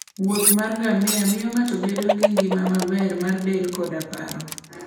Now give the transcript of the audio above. wuoth mar ngamia miyo ng'ato bedo gi ngima maber mar del koda paro.